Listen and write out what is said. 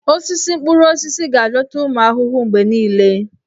Osisi mkpụrụ osisi ga-adọta ụmụ ahụhụ mgbe niile.